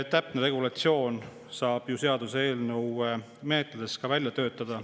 Täpse regulatsiooni saab ju seaduseelnõu menetluses välja töötada.